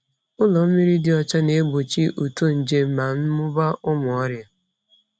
Ụlọ mmiri dị ọcha na-egbochi uto nje na mmụba ụmụ ọrịa.